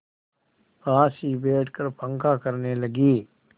पास ही बैठकर पंखा करने लगी